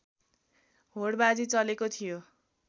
होडबाजी चलेको थियो